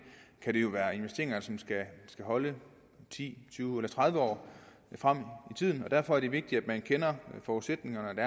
kan det jo være investeringer som skal holde i ti år tyve år eller tredive år frem i tiden derfor er det vigtigt at man kender forudsætningerne